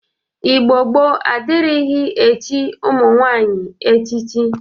Igbo gboo adịrighị echi ụmụ nwaanyị echichi